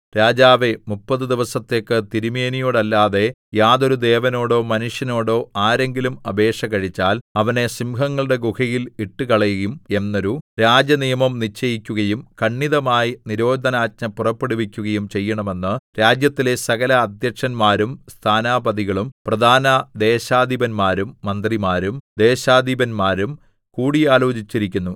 രാജാവേ മുപ്പതു ദിവസത്തേക്ക് തിരുമേനിയോടല്ലാതെ യാതൊരു ദേവനോടോ മനുഷ്യനോടോ ആരെങ്കിലും അപേക്ഷ കഴിച്ചാൽ അവനെ സിംഹങ്ങളുടെ ഗുഹയിൽ ഇട്ടുകളയും എന്നൊരു രാജനിയമം നിശ്ചയിക്കുകയും ഖണ്ഡിതമായി നിരോധനാജ്ഞ പുറപ്പെടുവിക്കുകയും ചെയ്യണമെന്ന് രാജ്യത്തിലെ സകല അദ്ധ്യക്ഷന്മാരും സ്ഥാനാപതികളും പ്രധാന ദേശാധിപന്മാരും മന്ത്രിമാരും ദേശാധിപന്മാരും കൂടി ആലോചിച്ചിരിക്കുന്നു